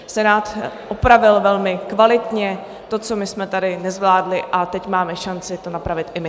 Senát opravil velmi kvalitně to, co my jsme tady nezvládli, a teď máme šanci to napravit i my.